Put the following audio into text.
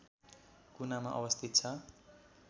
कुनामा अवस्थित छ